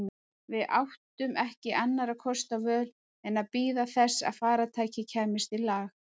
Við áttum ekki annarra kosta völ en að bíða þess að farartækið kæmist í lag.